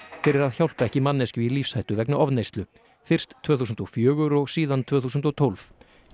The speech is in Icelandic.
fyrir að hjálpa ekki manneskju í lífshættu vegna ofneyslu fyrst tvö þúsund og fjögur og síðan tvö þúsund og tólf